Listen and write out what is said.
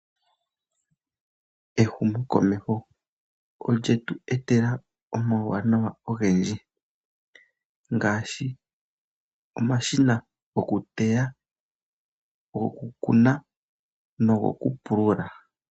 Ehumokomeho olye tu etela omauwanawa ogendji ngaashi omashina gokuteya, goku kuna nogokupulula.